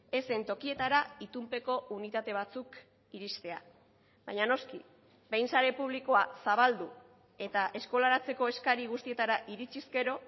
ez zen tokietara itunpeko unitate batzuk iristea baina noski behin sare publikoa zabaldu eta eskolaratzeko eskari guztietara iritsiz gero